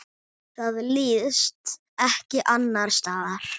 Það líðst ekki annars staðar.